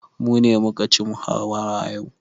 Mu ne muka ci muhawara yau.